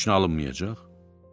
Deməli heç nə alınmayacaq?